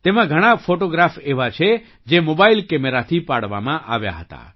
તેમાં ઘણા ફૉટોગ્રાફ એવા છે જે મોબાઇલ કેમેરાથી પાડવામાં આવ્યા હતા